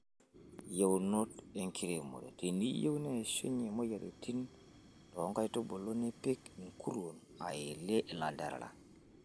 Yieunot enkiremore:Te niyieu neishunye moyiaritin too nkaitubulu nipik nkuruon aelie ilanterera.